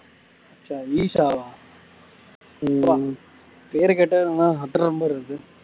ஈஷாவ பேர கேட்டாலே அதிர மாரி இருக்கு